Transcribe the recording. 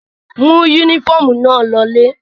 Mú únífọ́ọ́mù náà lọ ilé!